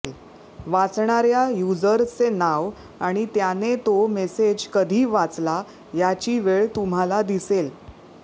वाचणाऱ्या युजर्संचे नाव आणि त्याने तो मेसेज कधी वाचला याची वेळ तुम्हाला दिसेल